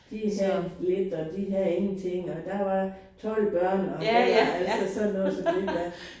De havde lidt og de havde ingenting og der var 12 børn og det var altså sådan noget så ved du hvad